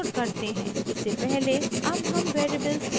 इससे पहले अब हम वेरिएबल्स a और b को क्लियर करते हैं